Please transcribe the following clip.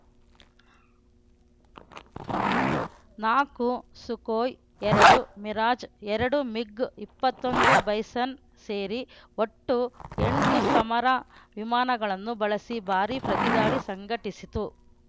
ನಾಲ್ಕು ಸುಖೋಯ್‌ ಎರಡು ಮಿರಾಜ್‌ ಎರಡು ಮಿಗ್‌ ಇಪ್ಪತ್ತೊಂದು ಬೈಸನ್‌ ಸೇರಿ ಒಟ್ಟು ಎಂಟು ಸಮರ ವಿಮಾನಗಳನ್ನು ಬಳಸಿ ಭಾರೀ ಪ್ರತಿದಾಳಿ ಸಂಘಟಿಸಿತು